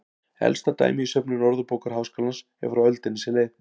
Elsta dæmi í söfnum Orðabókar Háskólans er frá öldinni sem leið.